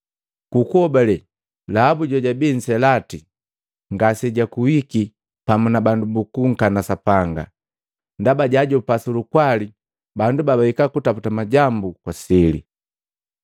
Ku kuhobale Lahabu jojabii nselati ngase jakuiki pamu na bandu babunkana Sapanga, ndaba jaajopa su lukwali bandu babahika kutaputa majambu kwa sili.